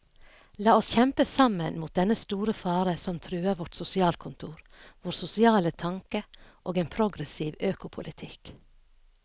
La oss kjempe sammen mot dennne store fare som truer vårt sosialkontor, vår sosiale tanke og en progressiv økopolitikk.